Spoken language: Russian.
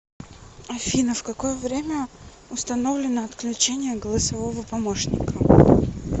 афина в какое время установлено отключение голосового помощника